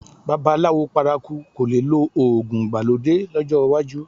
Babaláwo paraku kò le lo òògùn ìgbàlódé lọ́jọ́ iwájú